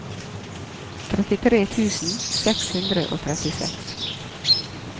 trettitre tusen seks hundre og trettiseks